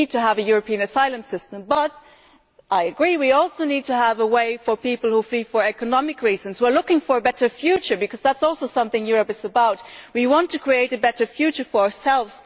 We need to have a European asylum system but I agree we also need to have a way for people who flee for economic reasons, who are looking for a better future because that is also something Europe is about, we want to create a better future for ourselves.